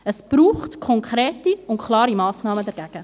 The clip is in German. Es braucht konkrete und klare Massnahmen dagegen.